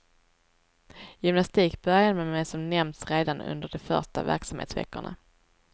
Gymnastik började man med som nämnts redan under de första verksamhetsveckorna.